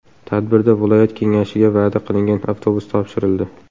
Tadbirda viloyat kengashiga va’da qilingan avtobus topshirildi.